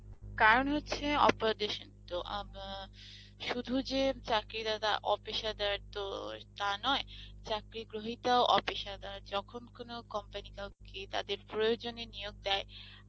কারণ হচ্ছে তো আম আ সুধু যে চাকরি দাতা officer তো টা নয় চাকরি যখন কোনো company কাউকে তাদের প্রয়োজনে নিয়োগ দেয়